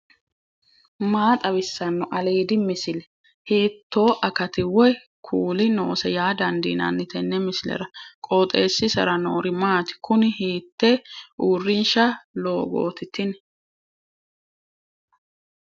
maa xawissanno aliidi misile ? hiitto akati woy kuuli noose yaa dandiinanni tenne misilera? qooxeessisera noori maati ? kuni hiitte urinsha loogooti tini